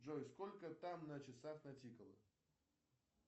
джой сколько там на часах натикало